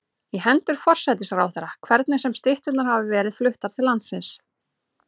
í hendur forsætisráðherra, hvernig sem stytturnar hafa verið fluttar til landsins.